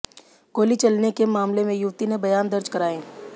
गोली चलने के मामले में युवती ने बयान दर्ज कराए